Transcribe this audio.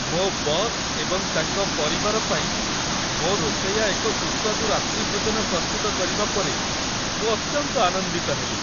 ମୋ ବସ୍ ଏବଂ ତାଙ୍କ ପରିବାର ପାଇଁ ମୋ ରୋଷେୟା ଏକ ସୁସ୍ୱାଦୁ ରାତ୍ରିଭୋଜନ ପ୍ରସ୍ତୁତ କରିବା ପରେ ମୁଁ ଅତ୍ୟନ୍ତ ଆନନ୍ଦିତ ହେଲି।